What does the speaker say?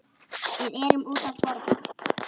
Við erum úti að borða.